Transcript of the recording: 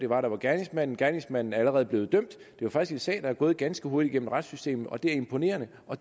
var og gerningsmanden gerningsmanden er allerede blevet dømt det er faktisk en sag der er gået ganske hurtigt gennem retssystemet og det er imponerende og